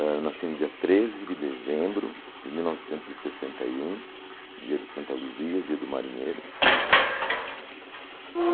Eu nasci no dia treze de dezembro de mil novecentos e sessenta e um, dia de Santa Luzia, dia do marinheiro.